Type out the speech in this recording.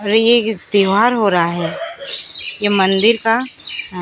और ये एक त्यौहार हो रहा है ये मंदिर का--